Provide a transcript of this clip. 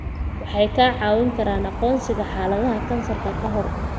Waxay kaa caawin karaan aqoonsiga xaaladaha kansarka ka hor.